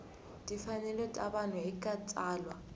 timfanelo ta vanhu eka tsalwa